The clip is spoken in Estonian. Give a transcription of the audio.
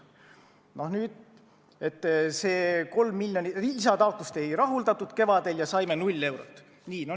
Maanteeameti lisataotlust kevadel ei rahuldatud ja nad said null eurot.